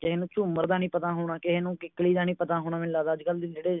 ਕਿਸੇ ਨੂੰ ਝੂਮਰ ਦਾ ਨਹੀਂ ਪਤਾ ਹੋਣਾ ਕਿਸੇ ਨੂੰ ਕਿੱਕਲੀ ਦਾ ਨਹੀਂ ਪਤਾ ਹੋਣਾ ਮੈਨੂੰ ਲੱਗਦਾ ਕਿ ਅੱਜ ਕਲ ਜਿਹੜੇ